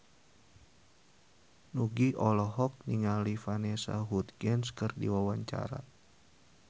Nugie olohok ningali Vanessa Hudgens keur diwawancara